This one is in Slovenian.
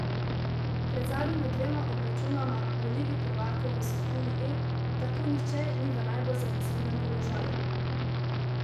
Pred zadnjima dvema obračunoma v ligi prvakov v skupini E tako nihče ni v najbolj zanesljivem položaju.